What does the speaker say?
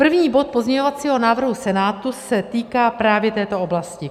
První bod pozměňovacího návrhu Senátu se týká právě této oblasti.